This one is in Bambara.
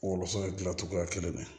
Wɔlɔsɔ dilancogoya kelen na